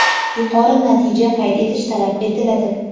yuqori natija qayd etish talab etiladi.